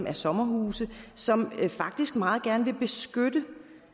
er sommerhusejere som faktisk meget gerne vil beskytte